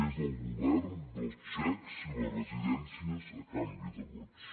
és el govern dels xecs i les residències a canvi de vots